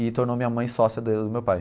e tornou minha mãe sócia do meu pai.